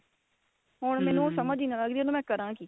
ਹੁਣ ਮੈਨੂੰ ਸਮਝ ਈ ਨਹੀਂ ਆਂਦਾ ਕੀ ਵੀ ਇਹਨੂੰ ਮੈਂ ਕਰਾਂ ਕੀ